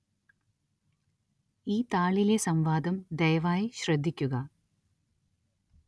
ഈ താളിലെ സം‌വാദം ദയവായി ശ്രദ്ധിക്കുക